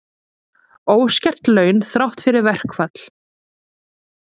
Óskert laun þrátt fyrir verkfall